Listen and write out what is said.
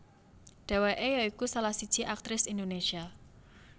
Dheweke ya iku salah siji aktris Indonésia